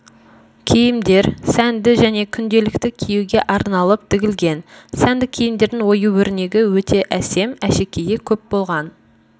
киімдер сәнді және күнделікті киюге арналып тігілген сәнді киімдердің ою-өрнегі өте әсем әшекейі көп болған